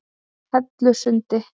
Hellusundi